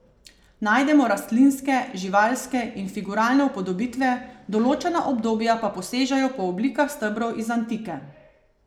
Najdemo rastlinske, živalske in figuralne upodobitve, določena obdobja pa posežejo po oblikah stebrov iz antike.